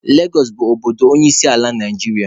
Legosụ bụ obodo onyeisiala Naijiria.